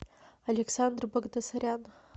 александр багдасарян